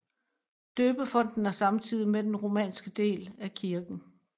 Døbefonten er samtidig med den romanske del af kirken